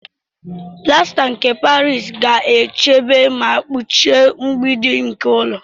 Plasta nke Paris ga-echebe ma kpuchie mgbidi nke ụlọ.